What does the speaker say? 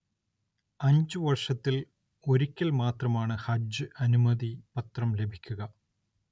അഞ്ചു വർഷത്തിൽ ഒരിക്കൽ മാത്രമാണ് ഹജ്ജ് അനുമതി പത്രം ലഭിക്കുക.